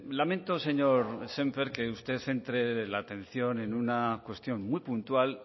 lamento señor sémper que usted centre la atención en una cuestión muy puntual